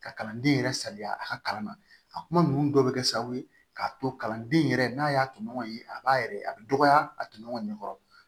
Ka kalanden yɛrɛ sali a ka kalan na a kuma ninnu dɔ bɛ kɛ sababu ye k'a to kalanden yɛrɛ n'a y'a tɔɲɔgɔnw ye a b'a yɛrɛ a bɛ dɔgɔya a tunɲɔgɔn